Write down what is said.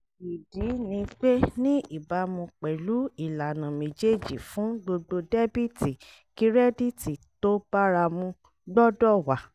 ìdí ni pé ní ìbámu pẹ̀lú ìlànà méjèèjì fún gbogbo dẹ́bìtì kírẹ́díìtì tó báramu gbọ́dọ̀ wà